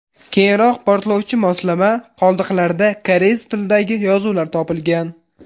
Keyinroq portlovchi moslama qoldiqlarida koreys tilidagi yozuvlar topilgan.